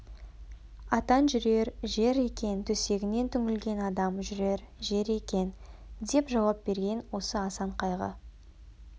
атан жүрер жер екен төсегінен түңілген адам жүрер жер екен деп жауап берген осы асан қайғы